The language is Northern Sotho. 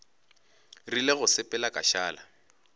rile go sepela ka šala